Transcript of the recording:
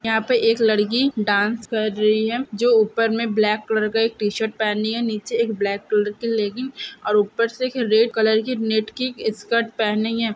यहाँ पे एक लड़की डांस कर रही है जो ऊपर में ब्लैक कलर का एक टी-शर्ट पहनी है नीचे एक ब्लैक कलर की लेग्गिंग्स और ऊपर से एक रेड कलर की नेट की स्कर्ट पहनी है।